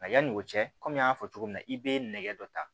Yanni o cɛ kɔmi n y'a fɔ cogo min na i bɛ nɛgɛ dɔ ta